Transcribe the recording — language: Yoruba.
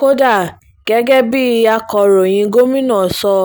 kódà gẹ́gẹ́ bíi akọ̀ròyìn gomina sọ